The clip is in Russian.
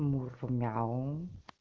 мур мяу